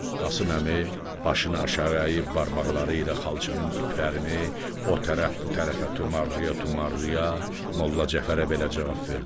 Qasım Əmi başını aşağı əyib barmaqları ilə xalçanın iplərini o tərəf bu tərəfə tumarlaya-tumarlaya, Molla Cəfərə belə cavab verdi.